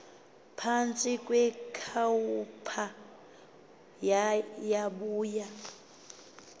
phantsi kwekhwapha yabuya